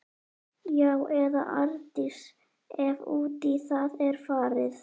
Já- eða Arndís, ef út í það er farið.